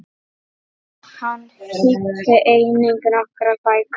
Hann þýddi einnig nokkrar bækur.